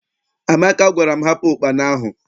Amaka gwara m, hapụ ụkpana ahụ!